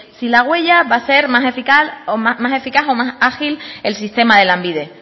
sí la huella va a ser más eficaz o más ágil el sistema de lanbide